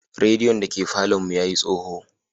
Radiyon da ke falon mu ya yi tsoho.